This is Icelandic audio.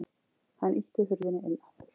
Hann ýtti hurðinni inn aftur.